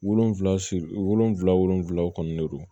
Wolonvila siri wolonwula wolonwulaw kɔnɔnnen don